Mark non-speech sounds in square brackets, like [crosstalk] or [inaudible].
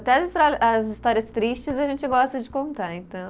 Até as, [unintelligible] as histórias tristes a gente gosta de contar, então